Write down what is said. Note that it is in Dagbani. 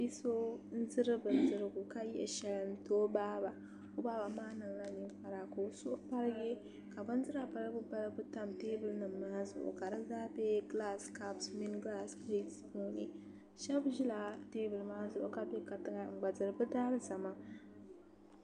Bia so n diri bindirigu ka yihi shɛli n ti o baaba o baaba maa niŋla ninkpara ka o suhu paligi ka bindira balibu balibu tam teebuli nim maa zuɣu ka di zaa bɛ gilas kaps ni shab ʒila teebuli nim maa zuɣu ka bɛ kantiŋa n gba diri bi daalizama